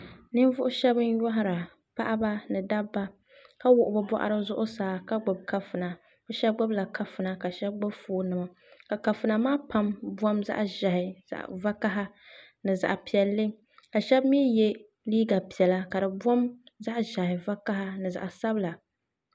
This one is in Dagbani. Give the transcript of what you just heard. Ninvuɣu shɛba n nyohira paɣiba ni dabba ka wuɣi bi bɔɣiri zuɣusaa ka gbubi kafuna bi shɛba gbubi la kafuna ka shɛba gbuni la kafuna ka shɛba gbubi foon nima ka kafuna maa pam bom zaɣi ʒehi zaɣi vakaha ni zaɣi piɛlli ka shɛba mi ye liiga piɛlla ka di bom zaɣi zɛhi vakaha ni zaɣi sabila.